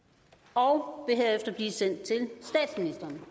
og vil